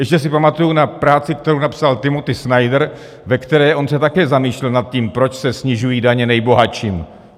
Ještě si pamatuji na práci, kterou napsal Timothy Snyder, ve které on se také zamýšlel nad tím, proč se snižují daně nejbohatším.